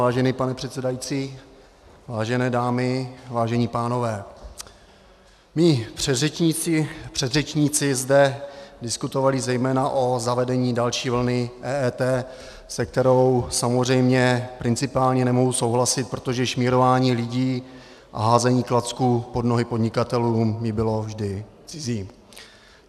Vážený pane předsedající, vážené dámy, vážení pánové, mí předřečníci zde diskutovali zejména o zavedení další vlny EET, s kterou samozřejmě principiálně nemohu souhlasit, protože šmírování lidí a házení klacků pod nohy podnikatelům mi bylo vždy cizí.